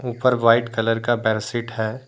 ऊपर white colour का bare sheet है।